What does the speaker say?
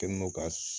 Kɛ n'o ka